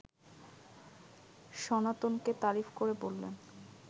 সনাতনকে তারিফ করে বললেন